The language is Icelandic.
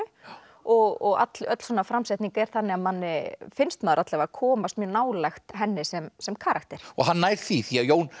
og öll öll svona framsetning er þannig að manni finnst maður komast mjög nálægt henni sem sem karakter og hann nær því því Jón